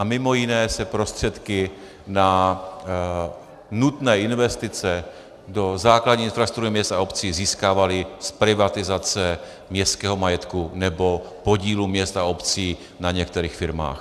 A mimo jiné se prostředky na nutné investice do základní infrastruktury měst a obcí získávaly z privatizace městského majetku nebo podílů měst a obcí na některých firmách.